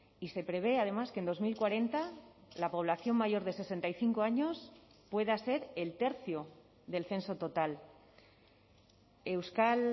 y se prevé además que en dos mil cuarenta la población mayor de sesenta y cinco años pueda ser el tercio del censo total euskal